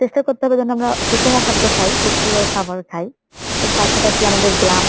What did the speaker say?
চেষ্টা করতে হবে যেন আমরা সুষম খাদ্য খাই, পুষ্টিকর খাবার খাই এর পাশাপাশি আমাদের ব্যায়াম,